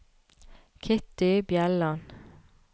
Kitty Bjelland